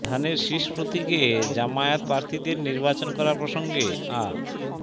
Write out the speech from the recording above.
ধানের শীষ প্রতীকে জামায়াত প্রার্থীদের নির্বাচন করা প্রসঙ্গে আ